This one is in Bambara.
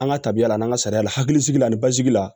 An ka tabiya la n'an ka sariya la hakilisigi basigi la